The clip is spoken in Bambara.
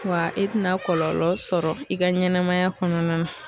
Wa i tɛna kɔlɔlɔ sɔrɔ i ka ɲɛnɛmaya kɔnɔna na.